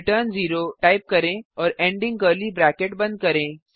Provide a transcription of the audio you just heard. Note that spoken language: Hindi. रिटर्न 0 टाइप करें और एंडिंग कर्ली ब्रैकेट बंद करें